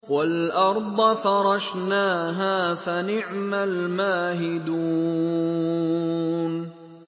وَالْأَرْضَ فَرَشْنَاهَا فَنِعْمَ الْمَاهِدُونَ